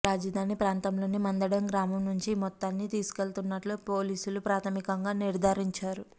రాజధాని ప్రాంతంలోని మందడం గ్రామం నుంచి ఈ మొత్తాన్ని తీసుకెళ్తున్నట్లు పోలీసులు ప్రాథమికంగా నిర్ధారించారు